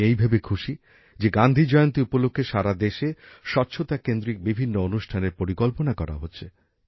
আমি এই ভেবে খুশি যে গান্ধীজয়ন্তী উপলক্ষে সারা দেশে স্বচ্ছতা কেন্দ্রিক বিভিন্ন অনুষ্ঠানের পরিকল্পনা করা হচ্ছে